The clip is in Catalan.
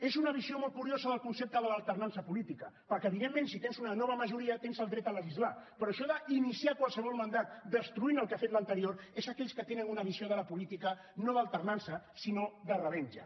és una visió molt curiosa del concepte de l’alternança política perquè evidentment si tens una nova majoria tens el dret de legislar però això d’iniciar qualsevol mandat destruint el que ha fet l’anterior és d’aquells que tenen una visió de la política no d’alternança sinó de revenja